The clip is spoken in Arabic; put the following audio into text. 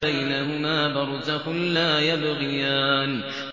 بَيْنَهُمَا بَرْزَخٌ لَّا يَبْغِيَانِ